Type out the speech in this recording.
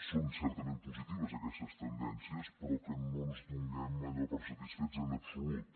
són certament positives aquestes tendències però que no ens donem allò per satisfets en absolut